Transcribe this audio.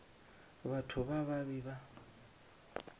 batho ba ba be ba